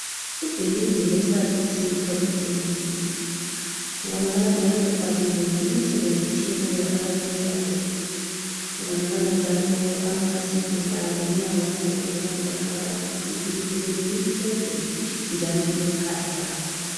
Ibhilidi leSalusi Poly Clinic. Kubonakala njalo kubhaliwe imisebenzi etshiyeneyo abayenzayo. Kubonakala njalo amafasitela lomnyango lapho okungena khona abantu. Ibhilidi leli limhlophe njalo lilophahla.